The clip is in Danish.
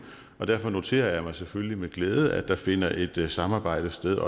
og derfor noterer jeg mig selvfølgelig med glæde at der finder et samarbejde sted